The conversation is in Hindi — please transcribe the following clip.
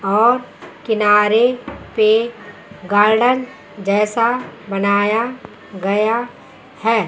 और किनारे पे गार्डन जैसा बनाया गया है।